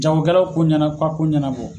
Jagokɛlaw ko ɲɛna ka ko ɲɛnabɔ.